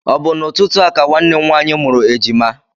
Ọ bụ n'ụtụtụ a ka nwanne m nwaanyị mụrụ ejima?